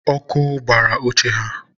ọkụ gbara oche ha